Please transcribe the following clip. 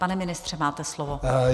Pane ministře, máte slovo.